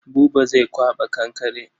Buba zai kwaɓa kankare.